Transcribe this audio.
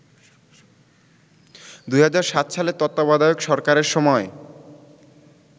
২০০৭ সালে তত্ত্বাবধায়ক সরকারের সময়